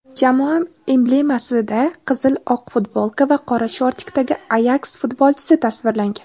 jamoa emblemasida qizil-oq futbolka va qora shortikdagi "Ayaks" futbolchisi tasvirlangan.